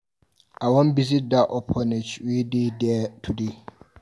I wan go visit dat orphanage wey dey there today.